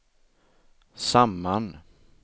samman